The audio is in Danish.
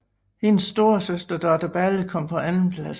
Hendes storesøster Dorte Balle kom på andenpladsen